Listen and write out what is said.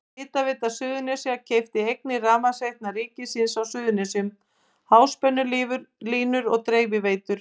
Hitaveita Suðurnesja keypti eignir Rafmagnsveitna ríkisins á Suðurnesjum, háspennulínur og dreifiveitur.